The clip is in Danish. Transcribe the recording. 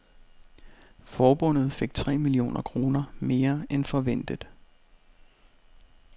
Forbundet fik tre millioner kroner mere end forventet.